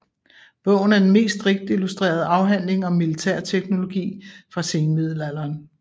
Bogen er den mest rigt illustrerede afhandling om militærteknologi fra senmiddelalderen